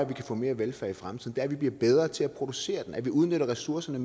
kan få mere velfærd i fremtiden er at vi bliver bedre til at producere den nemlig at vi udnytter ressourcerne